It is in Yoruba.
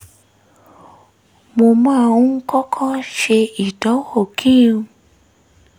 mo máa ń kọ́kọ́ ṣe ìdánwò kí n